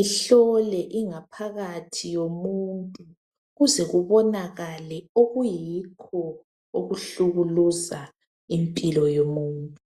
ehlole ingaphakathi yomuntu kuze kubonakale okuyikho okuhlukuluza impilo yomuntu.